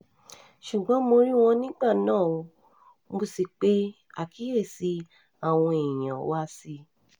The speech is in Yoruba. ṣùgbọ́n mo rí wọn nígbà náà ó mọ̀ sí pé àkíyèsí àwọn èèyàn wá sí i